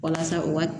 Walasa u ka